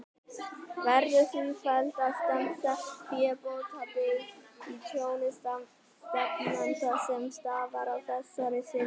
Verður því felld á stefnda fébótaábyrgð á tjóni stefnanda, sem stafar af þessari synjun.